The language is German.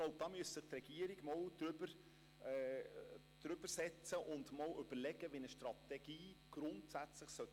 Die Regierung müsste sich noch einmal über die Justizvollzugsstrategie setzen und überlegen, wie eine Strategie grundsätzlich daherkommen sollte.